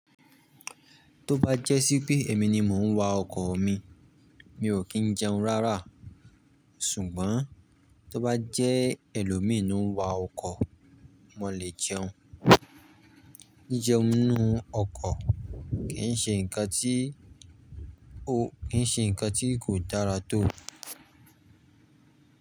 Tó bá jẹ́ sí pé èmi ni mò ń wa ọkọ̀ mi, mi ò kí ń jẹun rárá. Ṣùgbọ́n tó bá jẹ́ ẹlòmíì ni ń wa ọkọ̀, mò lè jẹun. Jí jẹun nínú ọkọ̀ kì í ṣe ǹkan tí, o, kì í ṣe ǹkan tí kò dára tò.